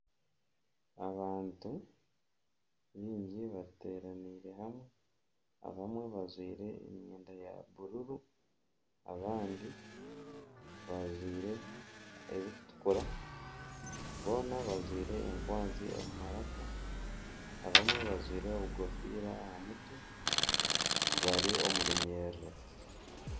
Abantu baingi bateeranaire hamwe. Abamwe bajwaire emyenda ya bururu, abandi bajwaire erikutukura. Boona bajwaire enkwanzi omu maraka. Abamwe bajwaire enkofiira aha mutwe bari omu runyiriri.